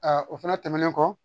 o fana tɛmɛnen kɔ